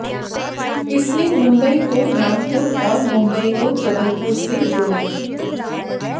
इसने मुंबई को नागपुर और मुंबई को जबलपुर से जोड़ा